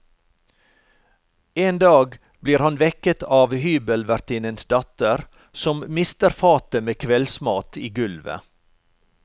En dag blir han vekket av hybelvertinnens datter som mister fatet med kveldsmat i gulvet.